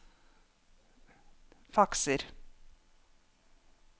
fakser